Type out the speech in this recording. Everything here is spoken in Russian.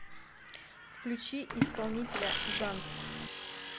включи исполнителя ганк